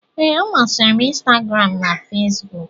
Ee, ọ masịrị m Instagram na Facebook